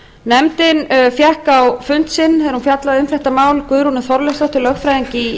nefndin fékk á fund sinn þegar hún fjallaði um málið guðrúnu þorleifsdóttur lögfræðing í